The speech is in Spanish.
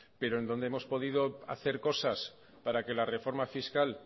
pero en donde hemos podido hacer cosas para que la reforma fiscal